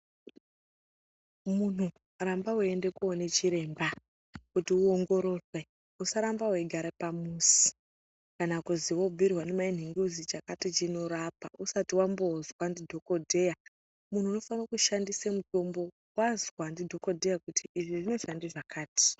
Muntu ramba weiende koone chiremba kuti uongororwe usaramba weigare pamuzi kana kuZi wobhiirwe ndimai nhingi kuzi chakati chinorapa usati wambozwa ndidhokodheya muntu unofane kushandise mutombo wazwa ndidhokodheya kuti iri rinoshanda zvakati.